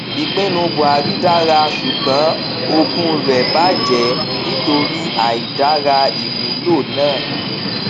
ìpinnu buhari dára ṣùgbọn ogún rẹ bàjẹ nítorí àìdára ìmúlò náà